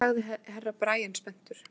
Nú hvað sagði Herra Brian spenntur.